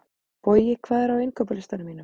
Bogi, hvað er á innkaupalistanum mínum?